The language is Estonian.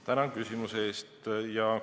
Tänan küsimuse eest!